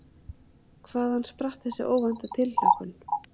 Hvaðan spratt þessi óvænta tilhlökkun?